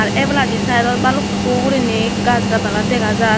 ar ebalandi sideot balukko gurine gaj gadala dega jar.